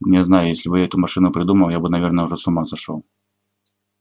не знаю если бы я эту машину придумал я бы наверное уже с ума сошёл